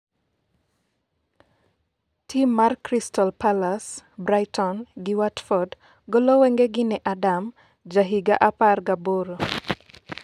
tim mar Crystal palace, Brighton gi watford golo wengegi ne Adam ,ja higa apar gi aboro